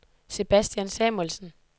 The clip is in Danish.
Sebastian Samuelsen